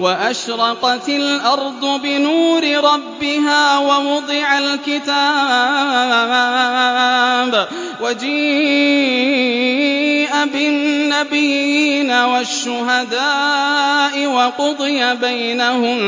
وَأَشْرَقَتِ الْأَرْضُ بِنُورِ رَبِّهَا وَوُضِعَ الْكِتَابُ وَجِيءَ بِالنَّبِيِّينَ وَالشُّهَدَاءِ وَقُضِيَ بَيْنَهُم